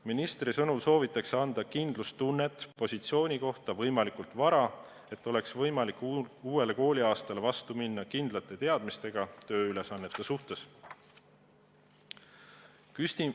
Ministri sõnul soovitakse anda kindlustunnet positsiooni kohta võimalikult vara, et oleks võimalik uuele kooliaastale vastu minna kindlate teadmistega, millised on tööülesanded.